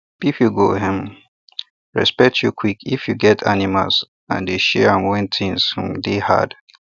people go um respect you quick if you get animals and dey share when things um dey hard